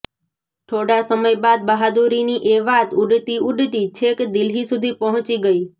થોડા સમય બાદ બહાદુરીની એ વાત ઊડતી ઊડતી છેક દિલ્હી સુધી પહોંચી ગઈ